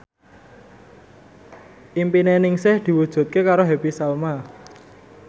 impine Ningsih diwujudke karo Happy Salma